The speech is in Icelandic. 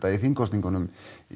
í þingkosningum